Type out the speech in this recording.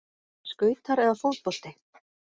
Skautar eða fótbolti?